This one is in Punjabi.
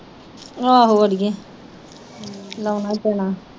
ਆਹੋ ਅੜੀਏ ਲਾਉਣਾ ਈ ਪੈਣਾ।